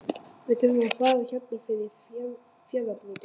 Við þurfum að fara hérna fyrir fjarðarbotninn.